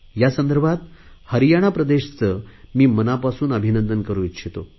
या संदर्भात हरियाणा प्रदेशचे मी मनापासून अभिनंदन करु इच्छितो